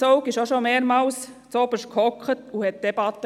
Zaugg sass bereits mehrmals zuoberst und führte die Debatten.